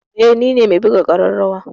Eh nine me buga ƙararrawa.